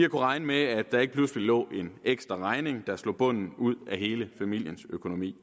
regne med at der ikke pludselig lå en ekstra regning der slog bunden ud af hele familiens økonomi